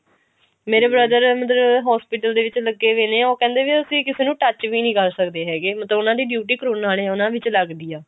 ਮੇਰੇ brother ਮਤਲਬ hospital ਦੇ ਵਿੱਚ ਲੱਗੇ ਵੇ ਨੇ ਉਹ ਕਿਹੰਦੇ ਵੀ ਅਸੀਂ ਕਿਸੇ ਨੂੰ touch ਵੀ ਕਰ ਸਕਦੇ ਹੈਗੇ ਮਤਲਬ ਉਹਨਾ ਦੀ duty ਕਰੋਨਾ ਆਲੇ ਉਹਨਾ ਵਿੱਚ ਲਗਦੀ ਆ